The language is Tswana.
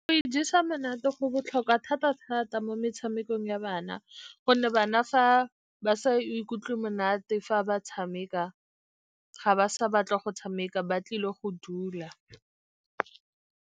Go ijesa monate go botlhokwa thata-thata mo metshamekong ya bana, gonne bana fa ba sa ikutlwe monate fa ba tshameka, ga ba sa batle go tshameka ba tlile go dula.